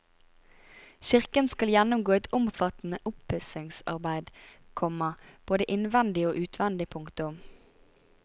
Kirken skal gjennomgå et omfattende oppussingsarbeid, komma både innvendig og utvendig. punktum